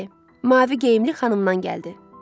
Bəli, mavi geyimli xanımdan gəldi.